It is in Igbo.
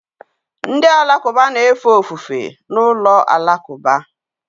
Ndị Alakụba na-efe ofufe n'ụlọ alakụba